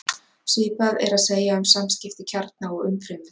Svipað er að segja um samskipti kjarna og umfrymis.